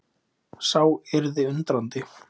Sá yrði undrandi.